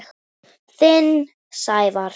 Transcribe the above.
Þinn, Sævar.